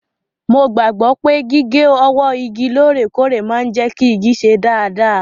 Mo gbàgbọ́ pé gígé ọwọ́ igi lóòrèkóòrè máa ń jẹ́ kí igi ṣe dáadáa.